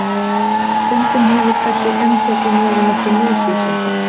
Stundum hefur þessi umfjöllun verið nokkuð misvísandi.